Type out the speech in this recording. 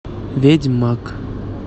ведьмак